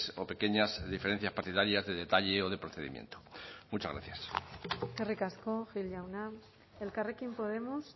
o pequeñas diferencias partidarias de detalle o de procedimiento muchas gracias eskerrik asko gil jauna elkarrekin podemos